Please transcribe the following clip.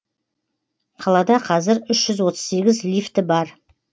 қалада қазір үщ жүз отыз сегіз лифті бар